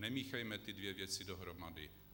Nemíchejme ty dvě věci dohromady.